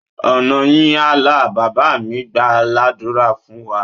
Ọ̀nà yín á là! Bàbá mí gbàá ládùrá fún wa.